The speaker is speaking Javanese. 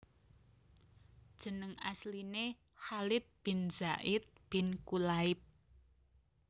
Jeneng asliné Khalid bin Zaid bin Kulayb